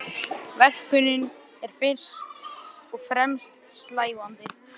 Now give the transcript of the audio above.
Hugberg, hvaða mánaðardagur er í dag?